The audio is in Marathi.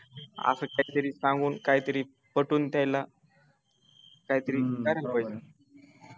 असं काहीतरी सांगून काहीतरी पटवून त्याला काहीतरी करायला पाहिजे